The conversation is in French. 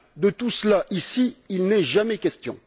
De tout cela, ici, il n'est jamais question.